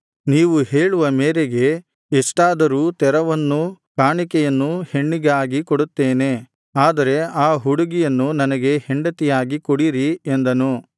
ನೀವು ಹೇಳುವ ಮೇರೆಗೆ ಎಷ್ಟಾದರೂ ತೆರವನ್ನೂ ಕಾಣಿಕೆಯನ್ನೂ ಹೆಣ್ಣಿಗಾಗಿ ಕೊಡುತ್ತೇನೆ ಆದರೆ ಆ ಹುಡುಗಿಯನ್ನು ನನಗೆ ಹೆಂಡತಿಯಾಗಿ ಕೊಡಿರಿ ಎಂದನು